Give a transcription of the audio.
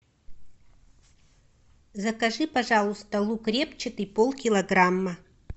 закажи пожалуйста лук репчатый полкилограмма